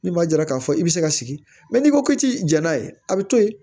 Ni maa jara k'a fɔ i bɛ se ka sigi n'i ko ki jɛn'a ye a bɛ to yen